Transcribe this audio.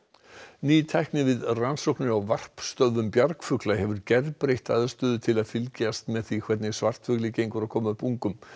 ný tækni við rannsóknir á varpstöðvum bjargfugla hefur gerbreytt aðstöðu til að fylgjast með því hvernig svartfugli gengur að koma upp ungum